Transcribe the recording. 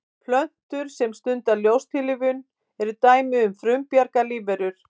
plöntur sem stunda ljóstillífun eru dæmi um frumbjarga lífverur